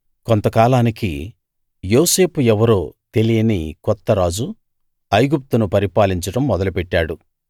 కొంతకాలానికి యోసేపు ఎవరో తెలియని కొత్త రాజు ఐగుప్తును పరిపాలించడం మొదలు పెట్టాడు